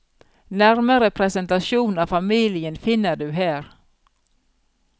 Nærmere presentasjon av familien finner du her.